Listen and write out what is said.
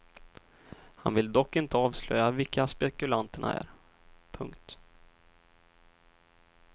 Han vill dock inte avslöja vilka spekulanterna är. punkt